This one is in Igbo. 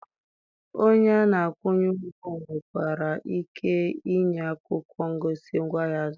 Onye a na-akwụnye ụgwọ nwekwara ike ịnye akwụkwọ ngosi ngwaahịa a zụrụ.